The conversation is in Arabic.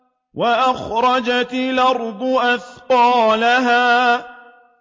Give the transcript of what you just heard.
وَأَخْرَجَتِ الْأَرْضُ أَثْقَالَهَا